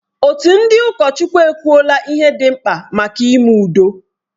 Òtù ndị ụkọchukwu ekwuwo ihe dị mkpa maka ime udo.